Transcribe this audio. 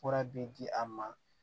Fura bi di a ma